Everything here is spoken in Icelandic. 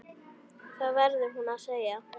Það verður hún að segja.